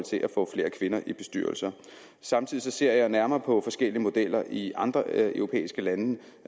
få flere kvinder i bestyrelser samtidig ser jeg nærmere på forskellige modeller i andre europæiske lande